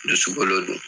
Dusukolo don